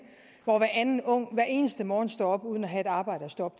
hvor hver anden ung hver eneste morgen står op uden at have et arbejde at stå op